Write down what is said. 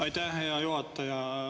Aitäh, hea juhataja!